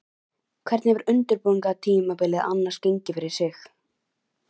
Hvernig hefur undirbúningstímabilið annars gengið fyrir sig?